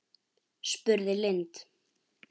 spurði Lind.